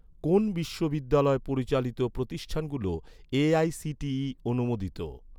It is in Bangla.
কোন বিশ্ববিদ্যালয় পরিচালিত প্রতিষ্ঠানগুলো এ.আই.সি.টি.ই অনুমোদিত?